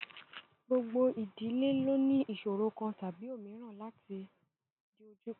Gbogbo ìdílé lo ní ìsọ̀ro kan tàbí òmíràn tí ó ń dojúkọ.